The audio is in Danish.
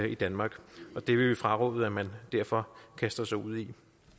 i danmark og det vil vi fraråde at man derfor kaster sig ud i